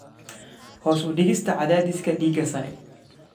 Hoos u dhigista Cadaadiska Dhiigga Sare.